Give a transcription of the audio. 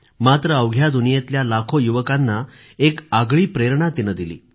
मात्र अवघ्या दुनियेतल्या लाखो युवकांना एक आगळी प्रेरणा तिनं दिली